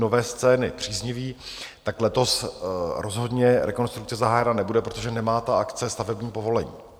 Nové scény příznivý, tak letos rozhodně rekonstrukce zahájena nebude, protože nemá ta akce stavební povolení.